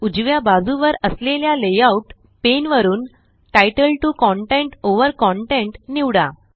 उजव्या बाजुवर असलेल्या लेआउट पेन वरुन तितले 2 कंटेंट ओव्हर contentनिवडा